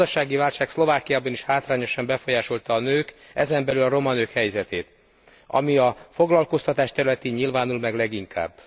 A gazdasági válság Szlovákiában is hátrányosan befolyásolta a nők, ezen belül a roma nők helyzetét, ami a foglalkoztatás területén nyilvánul meg leginkább.